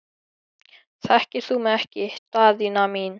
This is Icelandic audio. Þekkir þú mig ekki Daðína mín?